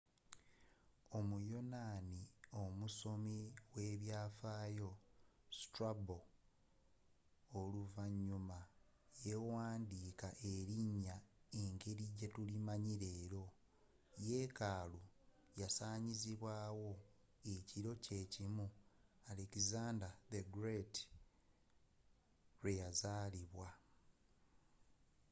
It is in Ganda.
omuyonaani omusomi w'ebyaafaayo strabo oluvannyuma yawandiika erinnya nga yengeri jetulimanyi leero yeekaalu yasaanyizibwaawo ekiro kyeekimu alexandar the great lweyazaalibwa